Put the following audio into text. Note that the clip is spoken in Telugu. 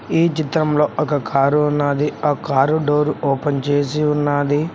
ఏ చిత్రంలో ఒక కారు ఉన్నది ఆ కారు డోర్ ఓపెన్ చేసి ఉన్నది.